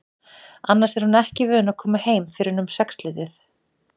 Annars er hún ekki vön að koma heim fyrr en um sexleytið.